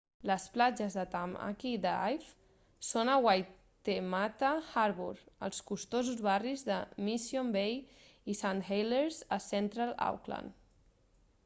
les platges de tamaki drive són a waitemata harbour als costosos barris de mission bay i st heliers a central auckland